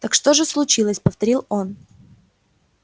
так что же случилось повторил он